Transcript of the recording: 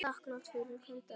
Þakklát fyrir hvern dag.